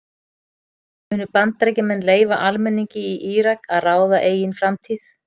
Munu Bandaríkjamenn leyfa almenningi í Írak að ráða eigin framtíð?